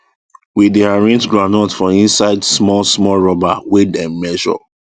we dey arrange groundnut for inside small small rubber wey dem measure